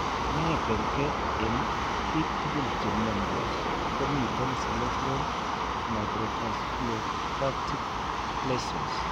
Ne ker ke eng' biik tugul che mnyandos ko miten cerebral microvasculopathic lesions.